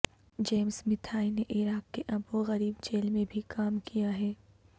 James Mathai نے عراق کی ابو غریب جیل میں بھی کام کیا ہے